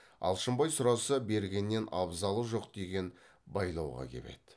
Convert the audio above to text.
алшынбай сұраса бергеннен абзалы жоқ деген байлауға кеп еді